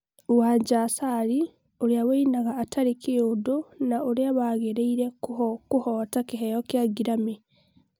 Wanja Asali: ũria winaga atarĩ kĩndũ na ũria warigĩrĩirie kũhota kĩheo gĩa Grammy